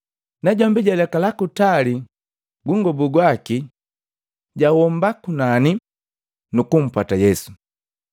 Najombi jalekala kutali gungobu gwaki, jahomba kunani, nukumpwata Yesu.